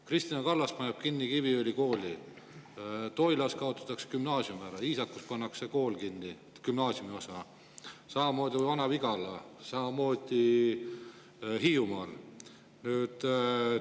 Kristina Kallas paneb kinni Kiviõli kooli, Toilas kaotatakse gümnaasium ära, Iisakus pannakse gümnaasiumiosa kinni, samamoodi Vana-Vigalas, samamoodi Hiiumaal.